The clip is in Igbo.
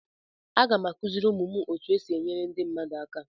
Aga m akụziri ụmụ m otu esi enyere ndị mmadụ aka.